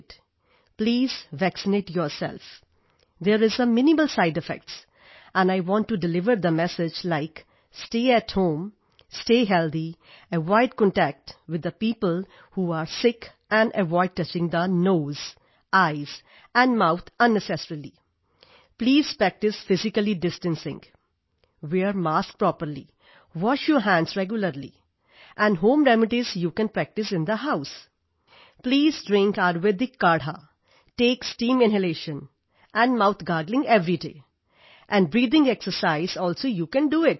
please vaccinate yourself there is a minimal side effects and I want to deliver the message like stay at home stay healthy avoid contact with the people who are sick and avoid touching the nose eyes and mouth unnecessarily please practise physically distancing wear mask properly wash your hands regularly and home remedies you can practise in the house please drink Ayurvedic kadha Ayurvedic kadha take steam inhalation and mouth gargling everyday and breathing exercise also you can do it